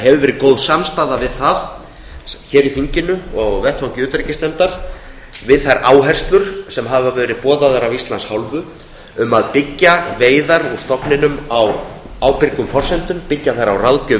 hefur verið góð samstaða hér í þinginu og á vettvangi utanríkismálanefndar um þær áherslur sem boðaðar hafa verið af íslands hálfu um að byggja veiðar úr stofninum á ábyrgum forsendum byggja þær á ráðgjöf